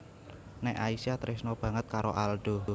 Nek Aisyah tresna banget karo Aldo